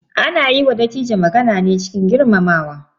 Ana yi wa Dattijo magana ne cikin girmamawa.